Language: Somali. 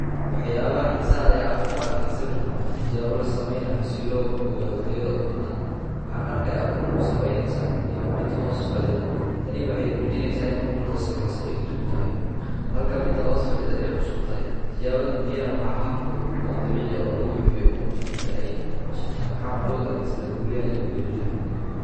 Waxyaabaha xiiso leh aan ku arkay sawirkan waa tijaabo la sameynayo si loo ogaado tayada ukunta. Waxaan arkay ukun sabaynaysa iyo mid hoos fadhida. Tani waxay buujineysa in ukunta sabaysa ay jug tahay halka mida hoos fadhida ay cusub tahay. Tijaabadan biyaha waxaa hab fudud oo dabiic ah oo lagu xebiyo ukunta inta ay casub tahay. Waxaana loo adeegsada guriyaha iyo beerilyi.